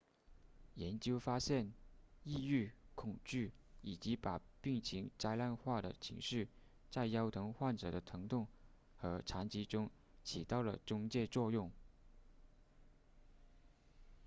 研究发现抑郁恐惧以及把病情灾难化的情绪在腰疼患者的疼痛和残疾中起到了中介作用